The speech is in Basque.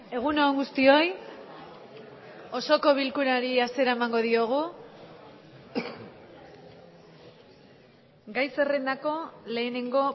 egun on guztioi osoko bilkurari hasiera emango diogu gai zerrendako lehenengo